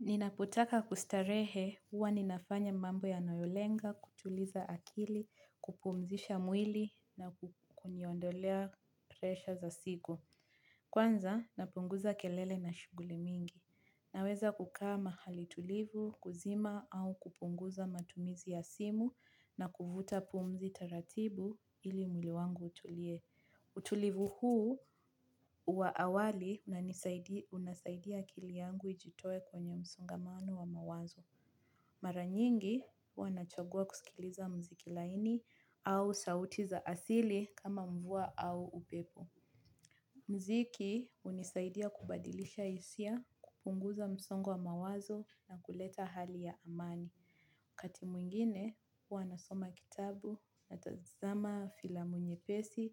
Ninapotaka kustarehe huwa ninafanya mambo yanayolenga, kutuliza akili, kupumzisha mwili na kuniondolea presha za siku. Kwanza napunguza kelele na shuguli mingi. Naweza kukaa mahali tulivu, kuzima au kupunguza matumizi ya simu na kuvuta pumzi taratibu ili mwili wangu utulie. Utulivu huu wa awali unasaidia akili yangu ijitoe kwenye msongamano wa mawazo. Maranyingi huwa nachagua kusikiliza mziki laini au sauti za asili kama mvua au upepo. Mziki unisaidia kubadilisha isia kupunguza msongo wa mawazo na kuleta hali ya amani. Kati mwingine huwa nasoma kitabu, natazama filamu nyepesi